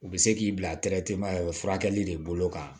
U bɛ se k'i bila furakɛli de bolo kan